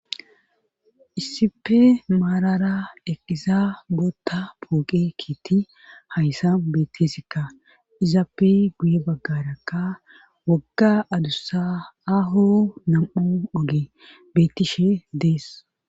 Issipe maalara eqqiza bootta pooqe kiitti hayssa bettisikka izaappey guye baggarakka wagga adussa aho nam7u oge betishe dees.